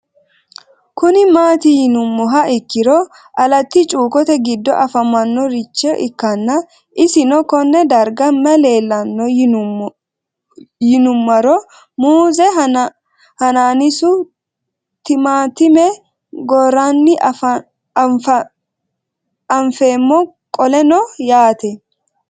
Kuni mati yinumoha ikiro alati chukote gido afamanorich ikana isino Kone darga mayi leelanno yinumaro muuze hanannisu timantime gooran anfemo qoleno yaate